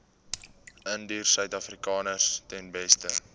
indiërsuidafrikaners ten beste